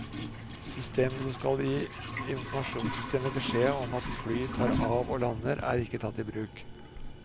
Systemet som skal gi informasjonssystemet beskjed om at fly tar av og lander, er ikke tatt i bruk.